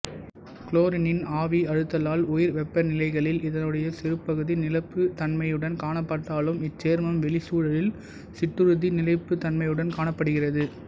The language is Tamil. குளோரினின் ஆவியழுத்தத்தால் உயர்வெப்பநிலைகளில் இதனுடைய சிறுபகுதி நிலைப்புத் தன்மையுடன் காணப்பட்டாலும் இச்சேர்மம் வெளிச்சூழலில் சிற்றுறுதி நிலைப்புத் தன்மையுடன் காணப்படுகிறது